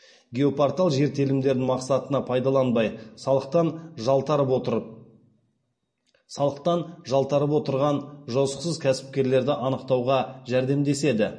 геопортал жер телімдерін мақсатына пайдаланбай салықтан жалтарып отырған жосықсыз кәсіпкерлерді анықтауға жәрдемдеседі